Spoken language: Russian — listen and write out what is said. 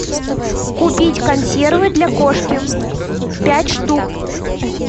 купить консервы для кошки пять штук